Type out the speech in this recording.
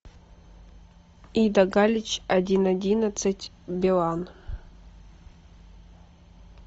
ида галич один одиннадцать билан